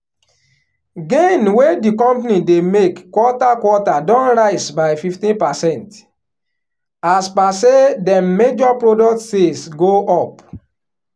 gain wey di company dey make quarter quarter don rise by fifteen percent as per say dem major product sales go up.